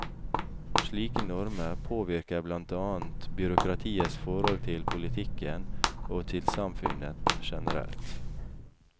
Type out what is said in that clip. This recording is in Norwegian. Slike normer påvirker blant annet byråkratiets forhold til politikken og til samfunnet generelt.